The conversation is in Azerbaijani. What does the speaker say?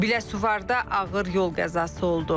Biləsuvarda ağır yol qəzası oldu.